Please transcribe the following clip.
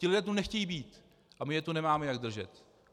Ti lidé tu nechtějí být a my je tu nemáme jak držet.